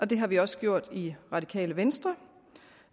det har vi også gjort i det radikale venstre